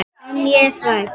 En ég er hrædd.